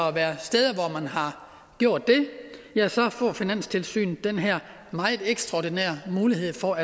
at være steder hvor man har gjort det får finanstilsynet den her meget ekstraordinære mulighed for